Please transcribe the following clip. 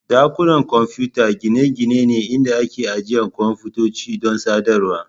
Dakunan kwamfuta gine-gine ne inda ake ajiye kwamfutoci don sadarwar.